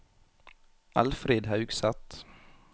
Elfrid Haugseth